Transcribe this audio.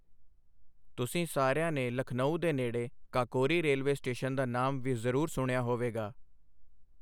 ਤੁਸੀਂ ਸਾਰਿਆਂ ਨੇ ਲਖਨਊ ਦੇ ਨੇੜੇ ਕਾਕੋਰੀ ਰੇਲਵੇ ਸਟੇਸ਼ਨ ਦਾ ਨਾਮ ਵੀ ਜ਼ਰੂਰ ਸੁਣਿਆ ਹੋਵੇਗਾ।